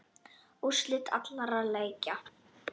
Úrslit allra leikja